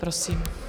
Prosím.